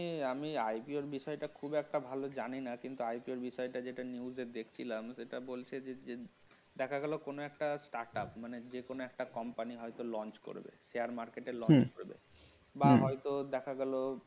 আমি IPO বিষয়টা খুব একটা ভালো জানি না কিন্তু IPO এর বিষয়টা যেটা news এ দেখছিলাম সেটা বলছে যে দেখা গেল যে কোন একটা টাকা মানে কোন একটা company হয়ত launch করবে share market এ হম বা হয়ত দেখা গেল